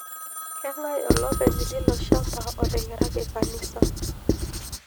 Kengae olopeny leiloshamba oteng'eraki kanisa?